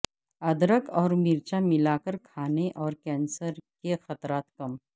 ادرک اور مرچیں ملاکر کھانا اور کینسر کے خطرات کم